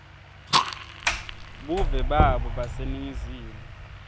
buve babo baseningizimu